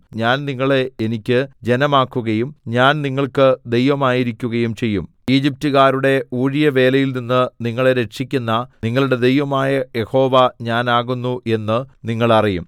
ഞാൻ നിങ്ങളെ എനിക്ക് ജനമാക്കുകയും ഞാൻ നിങ്ങൾക്ക് ദൈവമായിരിക്കുകയും ചെയ്യും ഈജിപ്റ്റുകാരുടെ ഊഴിയവേലയിൽനിന്ന് നിങ്ങളെ രക്ഷിക്കുന്ന നിങ്ങളുടെ ദൈവമായ യഹോവ ഞാൻ ആകുന്നു എന്ന് നിങ്ങൾ അറിയും